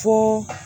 Fo